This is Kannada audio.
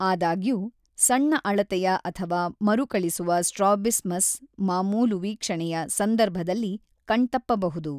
ಆದಾಗ್ಯೂ, ಸಣ್ಣ ಅಳತೆಯ ಅಥವಾ ಮರುಕಳಿಸುವ ಸ್ಟ್ರಾಬಿಸ್ಮಸ್ ಮಾಮೂಲು ವೀಕ್ಷಣೆಯ ಸಂದರ್ಭದಲ್ಲಿ ಕಣ್ತಪ್ಪಬಹುದು.